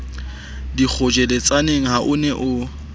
dikgotjheletsaneng ha o ne o